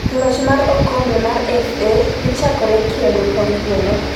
loch mar okombe mar FA dhi chakore kendo kawuono